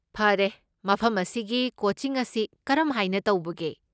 ꯐꯔꯦ, ꯃꯐꯝ ꯑꯁꯤꯒꯤ ꯀꯣꯆꯤꯡ ꯑꯁꯤ ꯀꯔꯝ ꯍꯥꯏꯅ ꯇꯧꯕꯒꯦ?